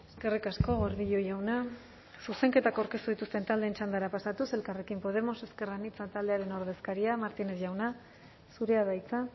eskerrik asko gordillo jauna zuzenketak aurkeztu dituzten taldeen txandara pasatuz elkarrekin podemos ezker anitza taldearen ordezkaria martínez jauna zurea da hitza